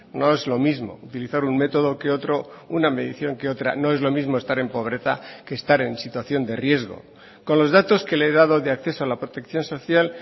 no es lo mismo utilizar un método que otro una medición que otra no es lo mismo estar en pobreza que estar en situación de riesgo con los datos que le he dado de acceso a la protección social